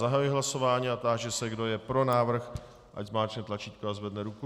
Zahajuji hlasování a táži se, kdo je pro návrh, ať zmáčkne tlačítko a zvedne ruku.